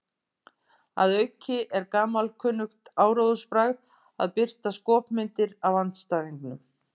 Að auki er gamalkunnugt áróðursbragð að birta skopmyndir af andstæðingnum.